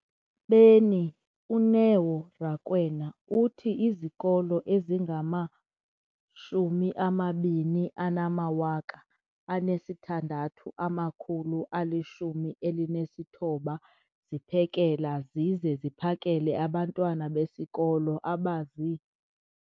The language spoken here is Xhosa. beni, uNeo Rakwena, uthi izikolo ezingama-20 619 ziphekela zize ziphakele abantwana besikolo abazi-